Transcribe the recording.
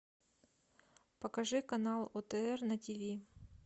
покажи канал отр на тиви